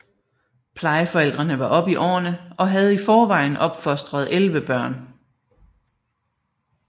Plejeforældrene var oppe i årene og havde i forvejen opfostret 11 børn